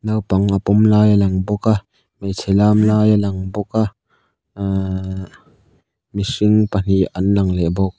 naupang a pawm lai a lang bawk a hmeichhe lam lai a lang bawk a ahh mihring pahnih an lang leh bawk.